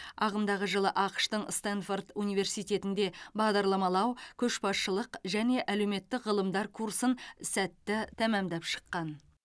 ағымдағы жылы ақш тың стенфорд университетінде бағдарламалау көшбасшылық және әлеуметтік ғылымдар курсын сәтті тәмамдап шыққан